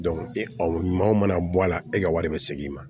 e maa o mana bɔ a la e ka wari bɛ segin i ma